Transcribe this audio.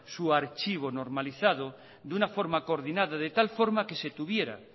su archivo normalizado de una forma coordinada de tal forma que se tuviera